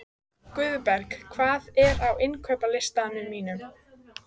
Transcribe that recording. Guðberg, hvað er á innkaupalistanum mínum?